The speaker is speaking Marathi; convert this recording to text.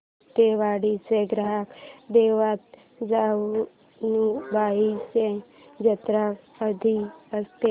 सातेवाडीची ग्राम देवता जानुबाईची जत्रा कधी असते